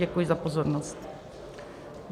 Děkuji za pozornost.